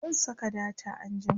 zan Saka data anjima